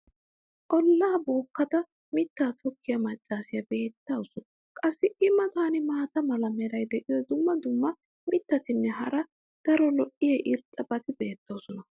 ollaa bookkada mittaa tokkiya macaassiya beettawusu. qassi i matan maata mala meray diyo dumma dumma mittatinne hara daro lo'iya irxxabati beettoosona.